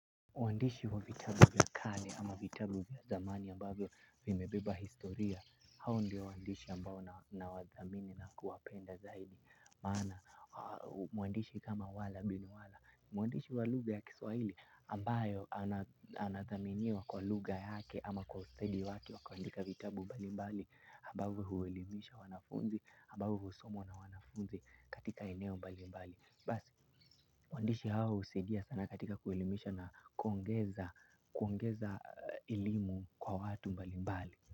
Waandishi wa vitabu vya karne ama vitabu vya zamani ambayo vimebeba historia hao ndio waandishi ambao nawadhamini na kuwapenda zaidi maana, mwandishi kama wala bin wala, mwandishi wa lugha ya kiswahili ambayo anathaminiwa kwa lugha yake ama kwa ustedi wake wa kuandika vitabu mbalimbali ambavyo huelimisha wanafunzi, ambao husomwa na wanafunzi katika eneo mbalimbali. Basi, waandishi hawa husaidia sana katika kuelimisha na kuongeza elimu kwa watu mbalimbali.